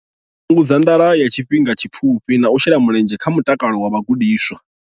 Fhungudza nḓala ya tshifhinga tshipfufhi na u shela mulenzhe kha mutakalo wa vhagudiswa.